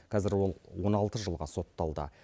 қазір ол он алты жылға сотталды